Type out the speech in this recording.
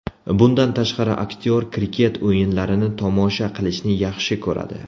Bundan tashqari, aktyor kriket o‘yinlarini tomosha qilishni yaxshi ko‘radi.